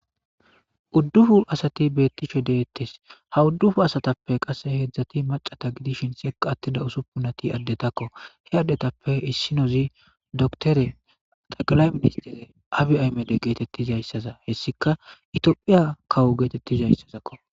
Uddupu asati beetishe de'etees; ha uddupu asatappe qasse hedzdzati maccata gidishin sekka atida usupunati addetako; he addetape issinozi doktere xeqlay ministere abiy ahimede geetetizaysaza hessikka itophphiya kawo geetetizaysazako.